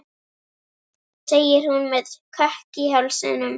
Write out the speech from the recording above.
segir hún með kökk í hálsinum.